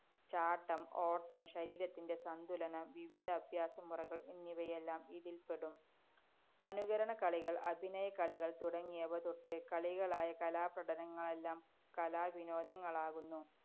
ചാട്ടം, ഓട്ടം, ശരീരത്തിന്‍റെ സന്തുലനം, വിവിധ അഭ്യാസമുറകള്‍ എന്നിവയെല്ലാം ഇതില്‍പ്പെടും. അനുകരണ കളികള്‍, അഭിനയ കളികള്‍ തുടങ്ങിയവ തൊട്ട് കളികളായ കലാപ്രകടനങ്ങളെല്ലാം കലാവിനോദങ്ങളാകുന്നു.